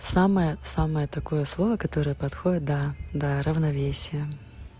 самое самое такое слово которое подходит да да равновесие